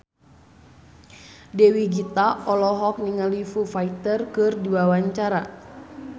Dewi Gita olohok ningali Foo Fighter keur diwawancara